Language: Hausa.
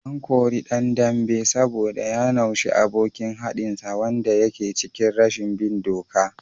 An kore dan dambe saboda ya naushe abokin haɗinsa wanda yake cikin rashin bin doka